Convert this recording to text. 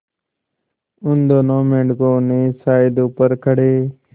उन दोनों मेढकों ने शायद ऊपर खड़े